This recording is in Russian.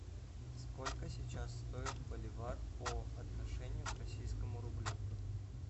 сколько сейчас стоит боливар по отношению к российскому рублю